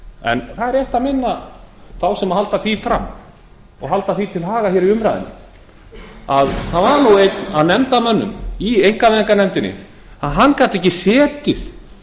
en það er rétt að minna þá á sem halda því fram og halda því til haga hér í umræðunni að það var nú einn af nefndarmönnum í einkavæðingarnefndinni hann gat ekki setið